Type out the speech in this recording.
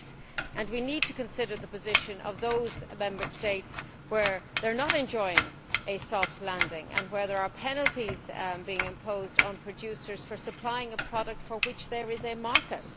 date. We need to consider the position of those Member States which are not enjoying a soft landing and where there are penalties being imposed on producers for supplying a product for which there is a market.